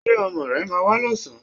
Ṣé ọmọ rẹ máa wá lọ́sàn-án